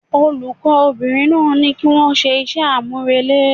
Olùkó bìnrin náà ní kí wón se ise àmúrelé